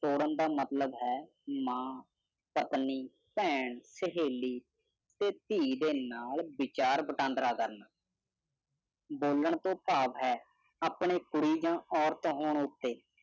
ਧਰਮ ਦਾ ਮਤਲਬ ਹੈਆਪਣੀ ਭੈਣ ਚੋਦੀਵਿਚਾਰ ਵਟਾਂਦਰਾ ਕਰਨਾਸਾਲਾਂ ਤੋਂ ਭਾਵ ਹੈਆਓ ਭਾਗਾਂ ਨੂੰ ਭਾਵੁਕ ਅਪੀਲ ਕਰਨ ਦਾ ਆਹਾ ਮਤਲਬ